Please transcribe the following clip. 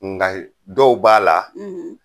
Nka dɔw b'a la